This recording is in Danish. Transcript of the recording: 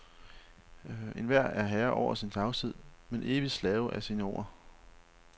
Enhver er herre over sin tavshed, men evigt slave af sine ord.